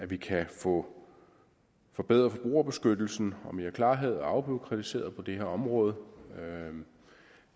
vi kan få forbedret forbrugerbeskyttelsen og få mere klarhed og afbureaukratisering på det her område